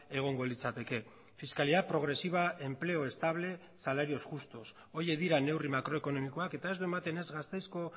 egongo litzateke fiscalidad progresiva empleo estable salarios justos horiek dira neurri makroekonomikoak eta ez du ematen ez gasteizko